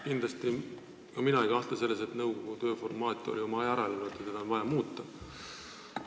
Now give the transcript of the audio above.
Kindlasti ei kahtle ka mina selles, et nõukogu tööformaat on oma aja ära elanud ja seda on vaja muuta.